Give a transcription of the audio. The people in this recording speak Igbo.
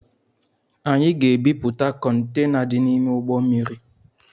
Anyị ga-ebipụta Kọntena dị n’ime ụgbọ mmiri